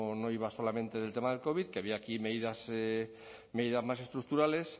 no iba solamente del tema del covid que había aquí medidas más estructurales